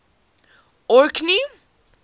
orkney